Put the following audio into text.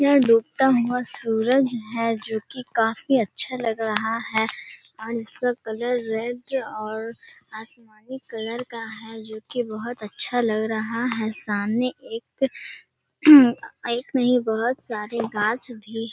यह डूबता हुआ सुरज हैजो कि काफी अच्छा लग रहा हैऔर इसका कलर रेड और आसमानी कलर का हैजो कि बहुत अच्छा लग रहा हैसामने एक एक नहीं बहुत सारे गाछ भी --